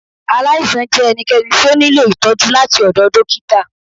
Aláìsàn jẹ ẹnikẹni ti o niló itọjú latí ọdọ dókítà.